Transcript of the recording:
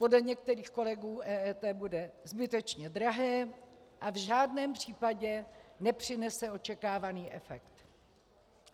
Podle některých kolegů EET bude zbytečně drahé a v žádném případě nepřinese očekávaný efekt.